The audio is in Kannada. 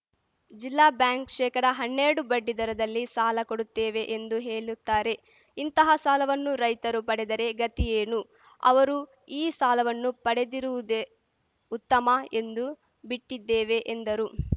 ಜಿಲ್ಲಾ ಬ್ಯಾಂಕ್‌ ಶೇಕಡ ಹನ್ನೆರಡು ಬಡ್ಡಿ ದರದಲ್ಲಿ ಸಾಲ ಕೊಡುತ್ತೇವೆ ಎಂದು ಹೇಲುತ್ತಾರೆ ಇಂತಹ ಸಾಲವನ್ನು ರೈತರು ಪಡೆದರೆ ಗತಿ ಏನು ಅವರು ಈ ಸಾಲವನ್ನು ಪಡೆದಿರುವುದೇ ಉತ್ತಮ ಎಂದು ಬಿಟ್ಟಿದ್ದೇವೆ ಎಂದರು